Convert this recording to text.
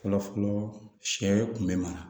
Fɔlɔfɔlɔ sɛ kun bɛ maga